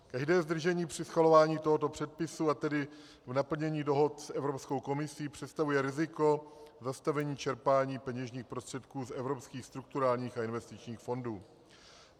Každé zdržení při schvalování tohoto předpisu, a tedy v naplnění dohod s Evropskou komisí představuje riziko zastavení čerpání peněžních prostředků z evropských strukturálních a investičních fondů.